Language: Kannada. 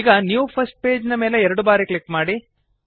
ಈಗ ನ್ಯೂ ಫರ್ಸ್ಟ್ ಪೇಜ್ ನ ಮೇಲೆ ಎರಡು ಬಾರಿ ಕ್ಲಿಕ್ ಮಾಡಿ